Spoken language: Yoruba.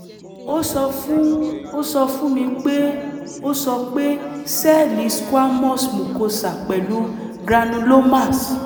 ó sọ fún ó sọ fún mi pé ó sọ pé sẹ́ẹ̀lì squamous mucosa pẹ̀lú granulomas